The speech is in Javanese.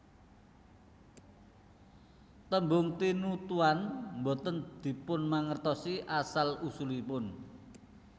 Tembung tinutuan boten dipunmangertosi asal usulipun